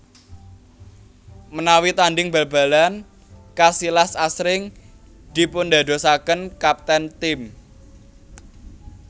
Menawi tandhing bal balan Casillas asring dipundadosaken kapten tim